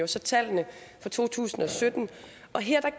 så tallene fra to tusind og sytten og her